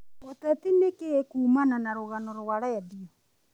ũteti nikĩĩ kumana na rũgano rwa redio